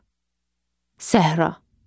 Səhra.